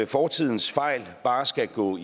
fortidens fejl bare skal gå